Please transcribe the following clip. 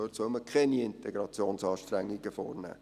dort soll man keine Integrationsanstrengungen vornehmen.